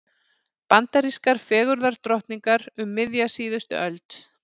Bandarískar fegurðardrottningar um miðja síðustu öld.